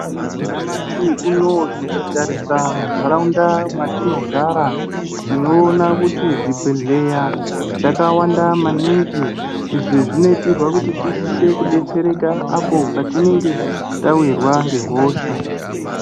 Nyamashi unowu tikatarisa munharaunda mwatinogara tinoona kuti zvibhedhlera zvakawanda maningi, izvi zvinoitirwa kuti tisise kudetsereka apo patinenge tawirwa ngehosha.